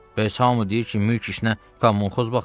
Bəs hamı deyir ki, mülk işinə kommunxoz baxır.